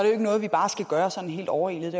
jo ikke noget vi bare skal gøre sådan helt overilet